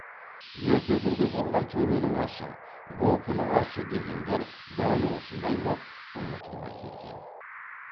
ерте күнде болған төренің асы бопының асы дегендер дәл осындай боп ұмытылмай келген